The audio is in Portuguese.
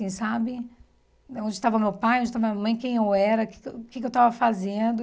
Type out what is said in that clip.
Assim, sabe? Onde estava meu pai, onde estava minha mãe, quem eu era, o que que eu o que que eu estava fazendo.